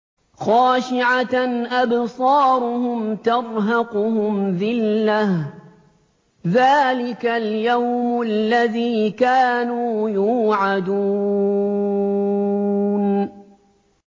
خَاشِعَةً أَبْصَارُهُمْ تَرْهَقُهُمْ ذِلَّةٌ ۚ ذَٰلِكَ الْيَوْمُ الَّذِي كَانُوا يُوعَدُونَ